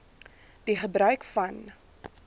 die gebruik van